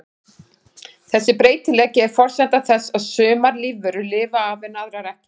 Þessi breytileiki er forsenda þess að sumar lífverur lifa af en aðrar ekki.